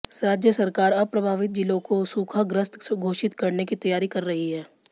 राज्य सरकार अब प्रभावित जिलों को सूखाग्रस्त घोषित करने की तैयारी कर रही है